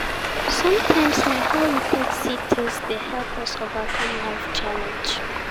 Sometimes na how we take see things dey help us overcome life challenge